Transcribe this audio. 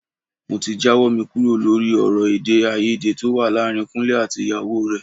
Mo ti jáwọ́ mi kúrò lórí ọ̀rọ̀ èdè-áiyedé tó wà láàárín Kúnlé àti ìyàwó rẹ̀.